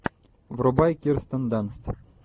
врубай кирстен данст